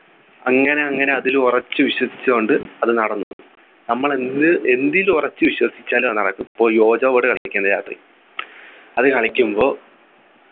അങ്ങനെ അങ്ങനെ അതിൽ ഉറച്ചു വിശ്വസിച്ചു കൊണ്ട് അത് നടന്നു നമ്മൾ എന്ത് എന്തിൽ ഉറച്ചു വിശ്വസിച്ചാലും അത് നടക്കും ഇപ്പൊ ഈ ouija board കളിക്കില്ലേ രാത്രി അത് കളിക്കുമ്പോ